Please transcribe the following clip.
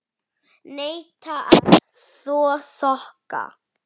Neita að þvo sokka.